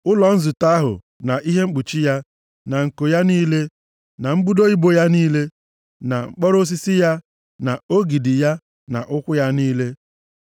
“ụlọ nzute ahụ, na ihe mkpuchi ya, na nko ya niile, na mbudo ibo ya, na mkpọrọ osisi ya, na ogidi ya, na ụkwụ ya niile.